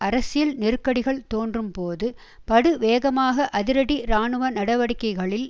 அரசியல் நெருக்கடிகள் தோன்றும்போது படுவேகமாக அதிரடி இராணுவ நடவடிக்கைகளில்